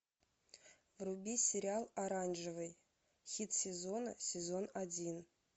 вруби сериал оранжевый хит сезона сезон один